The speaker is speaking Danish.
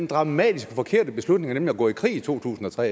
dramatiske forkerte beslutninger nemlig at gå i krig i to tusind og tre